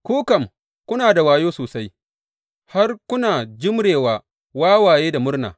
Ku kam kuna da wayo sosai, har kuna jimre wa wawaye da murna!